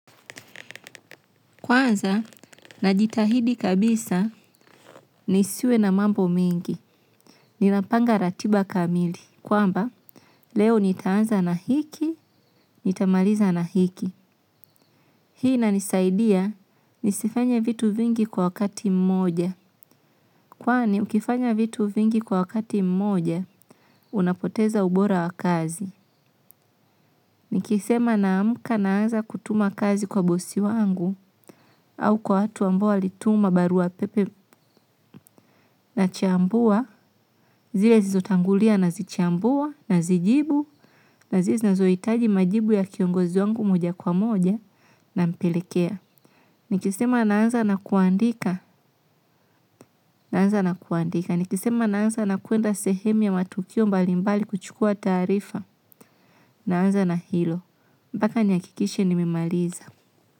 Kwanza, najitahidi kabisa, nisiwe na mambo mingi, ninapanga ratiba kamili. Kwamba, leo nitaanza na hiki, nitamaliza na hiki. Hii inanisaidia, nisifanya vitu vingi kwa wakati mmoja. Kwani, ukifanya vitu vingi kwa wakati mmoja, unapoteza ubora wa kazi. Nikisema naamka naanza kutuma kazi kwa bosi wangu, au kwa watu ambao walituma barua pepe nachambua, zile zilizotangulia na zichambua nazijibu na zile zinazohitaji majibu ya kiongozi wangu moja kwa moja nampelekea. Nikisema naanza na kuandika, naanza na kuandika, nikisema naanza na kuenda sehemu ya matukio mbali mbali kuchukua taarifa, naanza na hilo. Mpaka nihakikishe nimemaliza.